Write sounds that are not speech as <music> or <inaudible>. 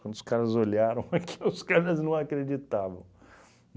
Quando os caras olharam <laughs> aquilo, os caras não acreditavam.